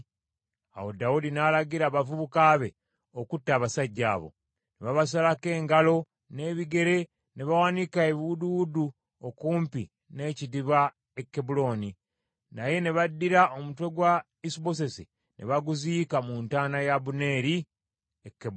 Awo Dawudi n’alagira abavubuka be, okutta abasajja abo. Ne babasalako engalo n’ebigere ne bawanika ebiwuduwudu okumpi n’ekidiba e Kebbulooni. Naye ne baddira omutwe gwa Isubosesi, ne baguziika mu ntaana ya Abuneeri e Kebbulooni.